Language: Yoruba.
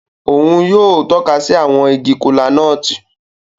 Òún yóò tọka si awọn ìgi kola-nut.